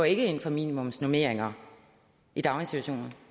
ikke ind for minimumsnormeringer i daginstitutioner